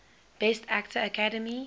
best actor academy